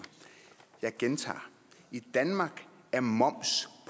jeg gentager i danmark er moms